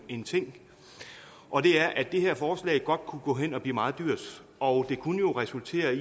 en ting og det er at det her forslag godt kunne gå hen og blive meget dyrt og det kunne jo resultere i